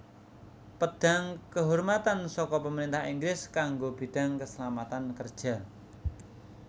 Pedang Kehormatan saka Pemerintah Inggris kanggo bidang keselamatan kerja